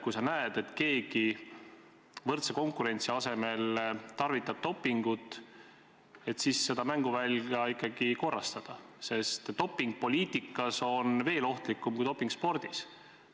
Kui on näha, keegi võrdse konkurentsi asemel tarvitab dopingut, siis tuleb seda mänguvälja ikkagi korrastada, sest doping poliitikas on veel ohtlikum kui doping spordis.